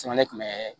Sɛmɛni tun bɛ